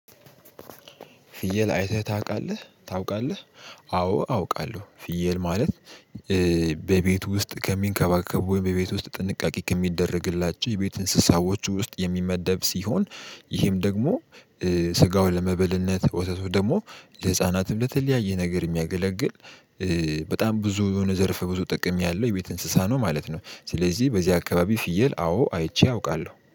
ፍየል አይተህ ታውቃለህ ታውቃለህ? አዎ አውቃለሁ። ፍየል ማለት በቤቱ ውስጥ ከሚንከባከቡ ወይም በቤት ውስጥ ጥንቃቄ ከሚደረግላቸው የቤት እንስሳዎች ውስጥ የሚመደብ ሲሆን። ይሄም ደግሞ ስጋው ለመበልነት ወተቱ ደግሞ ለህፃናት በተለያየ ነገር የሚያገለግል። በጣም ብዙ የሆነ ዘርፈ ብዙ ጥቅም ያለው የቤት እንስሳ ነው ማለት ነው። ስለዚህ በዚህ አካባቢ ፍየል አዎ አይቼ አውቃለሁ